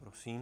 Prosím.